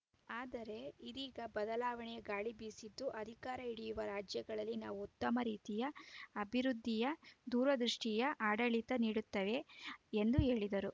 ಆದರೆ ಇದೀಗ ಬದಲಾವಣೆಯ ಗಾಳಿ ಬೀಸಿದ್ದು ಅಧಿಕಾರ ಹಿಡಿಯುವ ರಾಜ್ಯಗಳಲ್ಲಿ ನಾವು ಉತ್ತಮ ರೀತಿಯ ಅಭಿವೃದ್ಧಿಯ ದೂರದೃಷ್ಟಿಯ ಆಡಳಿತ ನೀಡುತ್ತೇವೆ ಎಂದು ಹೇಳಿದರು